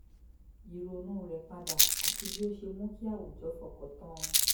ìrònú rẹ̀ padà àti bí ó ṣe mú kí àwùjọ fọkàn tán an